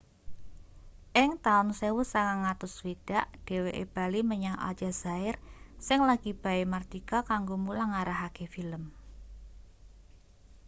ing taun 1960 dheweke bali menyang aljazair sing lagi bae mardika kanggo mulang ngarahake film